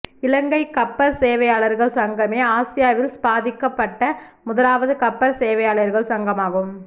இலங்கை கப்பற் சேவையாளர்கள் சங்கமே ஆசியாவில் ஸ்தாபிக்கப்பட்ட முதலாவது கப்பற் சேவையாளர்கள் சங்கமாகும்